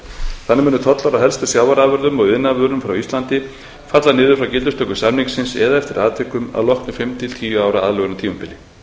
þannig munu tolla á helstu sjávarafurðum og iðnaðarvörum frá íslandi falla niður við gildistöku samningsins eða eftir atvikum að loknu fimm til tíu ára aðlögunartímabili